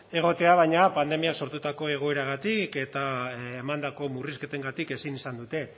egotea baina pandemiak sortutako egoeragatik eta emandako murrizketengatik ezin izan dute